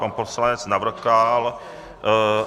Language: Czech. Pan poslanec Navrkal...